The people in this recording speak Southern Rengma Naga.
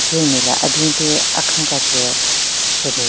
Pechenyu nme le aben pe akhün ka tsü shyu bin.